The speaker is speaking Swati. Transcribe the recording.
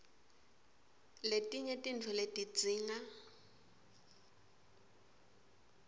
letinye tintfo letidzinga